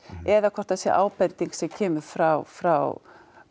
eða hvort það sé ábending sem kemur frá frá